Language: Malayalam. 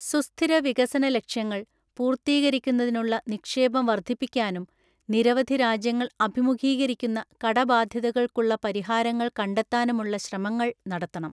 സുസ്ഥിര വികസന ലക്ഷ്യങ്ങൾ പൂർത്തീകരിക്കുന്നതിനുള്ള നിക്ഷേപം വർധിപ്പിക്കാനും നിരവധി രാജ്യങ്ങൾ അഭിമുഖീകരിക്കുന്ന കടബാധ്യതകൾക്കുള്ള പരിഹാരങ്ങൾ കണ്ടെത്താനുമുളള ശ്രമങ്ങൾ നടത്തണം.